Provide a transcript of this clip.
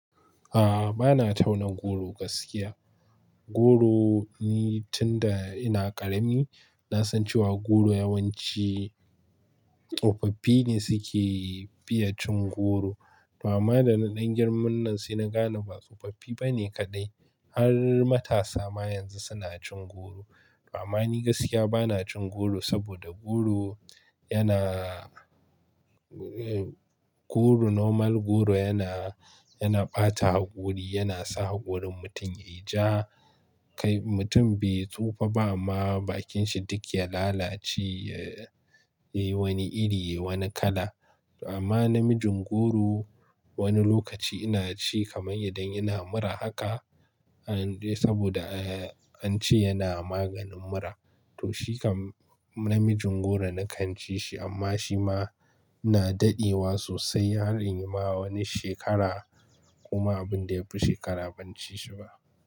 A'a, bana tauna goro gaskiya. Goro ni tun da ina ƙarami na san cewa goro yawanci tsofaffi ne suke fiye cin goro. Amma da na ɗan girman nan sai na gane ba tsofaffi bane kaɗai, har matasa ma yanzu suna cin goro. Amma ni gaskiya bana cin goro saboda goro yana, goro normal goro yana, yana ɓata haƙuri, yana sa haƙurin mutum ya yi ja. Kai mutum bai tsufa ba amma bakin shi duk ya lalace, ya yi wani iri, wani kala. Amma namijin goro wani lokaci ina ci kamar idan ina mura haka saboda an ce yana maganin mura. To shi kam namijin goro na kan ci shi amma shi ma ina daɗewa sosai har in yi ma wani shekara kuma abin da ya fi shekara ban ci shi ba.